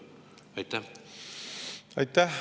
Aitäh!